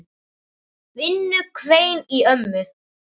Vinnu hvein í ömmu.